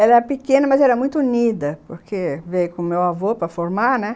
Ela era pequena, mas era muito unida, porque veio com o meu avô para formar, né?